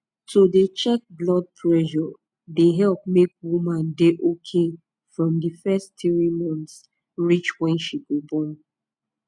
to dey check blood pressure dey epp make woman dey ok from di fess tiri months reach wen she go born